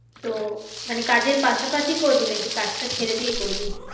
তো মানে কাজের পাশাপাশি করবি? নাকি কাজটা ছেড়ে দিয়ে করবি?